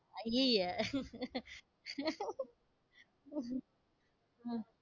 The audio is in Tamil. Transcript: அய்யய்ய! உம்